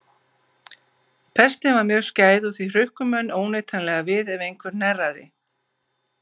Pestin var mjög skæð og því hrukku menn óneitanlega við ef einhver hnerraði.